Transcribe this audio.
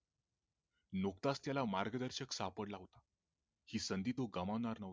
नुकताच त्याला मार्गदर्शक सापडला होता ही संधी तो गामावणार नव्हता